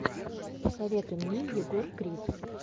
посоветуй мне егор крид